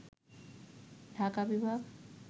ঢাকা বিভাগ